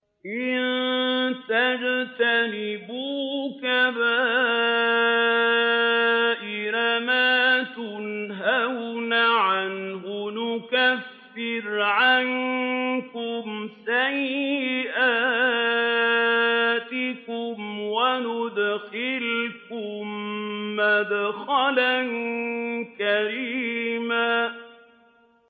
إِن تَجْتَنِبُوا كَبَائِرَ مَا تُنْهَوْنَ عَنْهُ نُكَفِّرْ عَنكُمْ سَيِّئَاتِكُمْ وَنُدْخِلْكُم مُّدْخَلًا كَرِيمًا